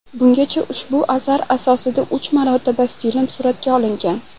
Bungacha ushbu asar asosida uch marotaba film suratga olingan.